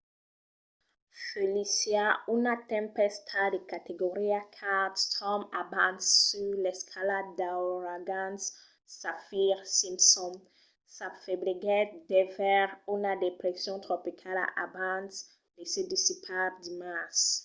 felicia una tempèsta de categoria 4 storm abans sus l'escala d'auragans saffir-simpson s'afebliguèt devers una depression tropicala abans de se dissipar dimars